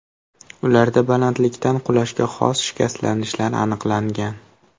Ularda balandlikdan qulashga xos shikastlanishlar aniqlangan.